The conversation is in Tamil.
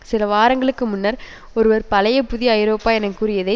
சில வாரங்களுக்கு முன்னர் ஒருவர் பழைய புதிய ஐரோப்பா என கூறியதை